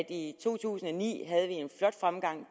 i to tusind og ni havde en flot fremgang i